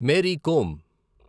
Mary come